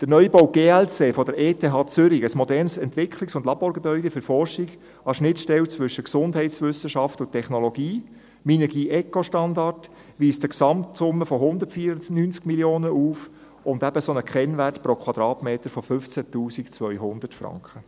Der Neubau GLC der ETH Zürich, ein modernes Entwicklungs- und Laborgebäude für die Forschung an der Schnittstelle zwischen Gesundheitswissenschaften und Technologie, Minergie-ECO-Standard, weist eine Gesamtsumme von 194 Mio. Franken auf und einen Kennwert pro Quadratmeter von 15 200 Franken.